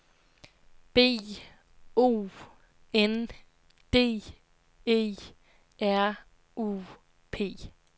B O N D E R U P